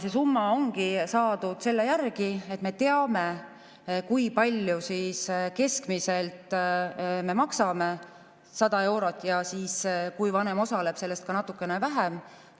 See summa ongi saadud selle järgi, et me teame, kui palju me keskmiselt maksame: 100 eurot ja kui vanem osaleb, siis sellest ka natukene vähem.